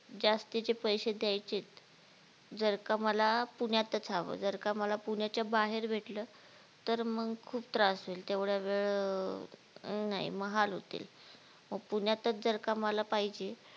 जास्तीचे पैसे द्येयचेत जर का मला पुण्यातच हवं जर का मला पुण्याच्या बाहेर भेटलं तर मग खुप त्रास होईल तेवढा वेळ नाही महाल होतील मग पुण्यातच जर का मला पाहिजे